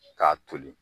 K'a toli